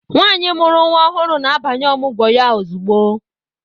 Nwaanyi mụrụ nwa ọhụrụ na-abanye Ọmụgwọ ya ozugbo.